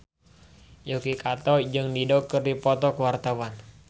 Yuki Kato jeung Dido keur dipoto ku wartawan